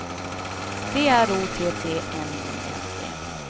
D R O T T N I N G